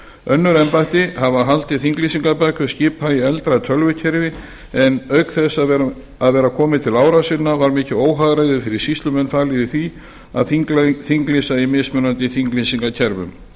önnur embætti hafa haldið þinglýsingarbækur skipa í eldra tölvukerfi en auk þess að vera komið til ára sinna var mikið óhagræði fyrir sýslumenn falið í því að þinglýsa í mismunandi þinglýsingakerfi